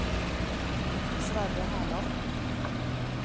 Sverre Herland